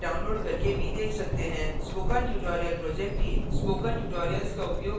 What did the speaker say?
spoken tutorial project team spoken tutorials का उपयोग करके कार्यशालाएँ चलाती है